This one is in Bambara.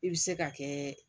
I bɛ se ka kɛ